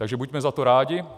Takže buďme za to rádi.